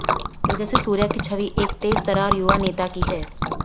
तेजस्वी सूर्या की छवि एक तेजतर्रार युवा नेता की है